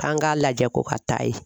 K'an k'a lajɛ ko ka taa ye.